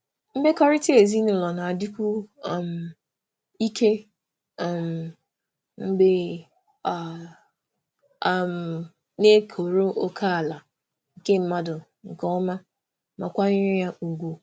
Mmekọrịta ezinụlọ na-adịkwu um ike um mgbe a um na-ekọrọ ókèala nke mmadụ nke ọma ma kwanyere ya ùgwù.